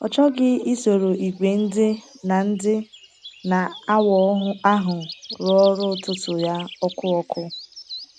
Ọ chọghị isoro ìgwè ndị na - ndị na - awa ahụ rụọ ọrụ ụtụtụ ya ọkụ ọkụ.